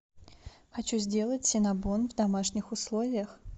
хочу сделать синнабон в домашних условиях